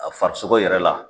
A farisogo yɛrɛ la.